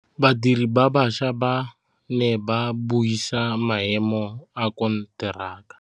Badiri ba baša ba ne ba buisa maêmô a konteraka.